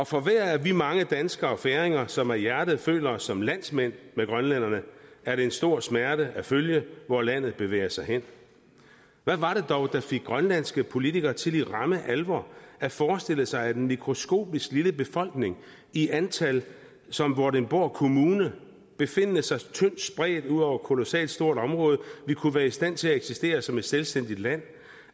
for hver af vi mange danskere og færinger som af hjertet føler os som grønlændernes landsmænd er det en stor smerte at følge hvor landet bevæger sig hen hvad var det dog der fik grønlandske politikere til i ramme alvor at forestille sig at en mikroskopisk lille befolkning i antal som vordingborg kommune befindende sig tyndt spredt ud over et kolossalt stort område vil kunne være i stand til at eksistere som et selvstændigt land